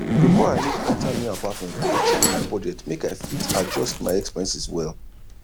before i move enter new apartment i check my budget make i fit adjust my expenses well